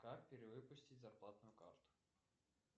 как перевыпустить зарплатную карту